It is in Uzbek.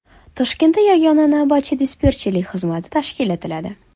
Toshkentda yagona navbatchi-dispetcherlik xizmati tashkil etiladi.